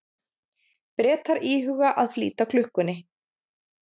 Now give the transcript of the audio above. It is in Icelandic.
Bretar íhuga að flýta klukkunni